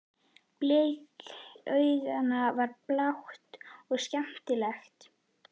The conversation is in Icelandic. Blik augnanna var blátt og skelmislegt.